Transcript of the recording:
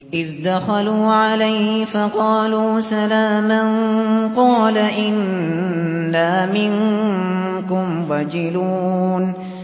إِذْ دَخَلُوا عَلَيْهِ فَقَالُوا سَلَامًا قَالَ إِنَّا مِنكُمْ وَجِلُونَ